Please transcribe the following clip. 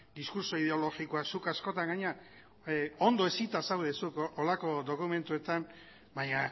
diskurtso ideologikoak zuk askotan gainera ondo hezita zaude zu horrelako dokumentuetan baina